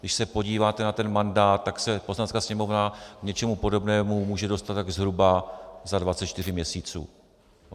Když se podíváte na ten mandát, tak se Poslanecká sněmovna k něčemu podobnému může dostat tak zhruba za 24 měsíců.